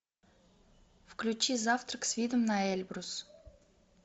включи завтрак с видом на эльбрус